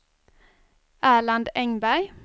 Erland Engberg